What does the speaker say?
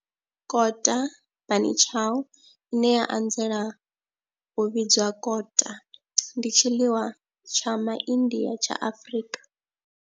Kota, bunny chow, ine ya anzela u vhidzwa kota, ndi tshiḽiwa tsha Ma India tsha Afrika.